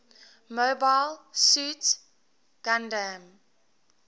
mobile suit gundam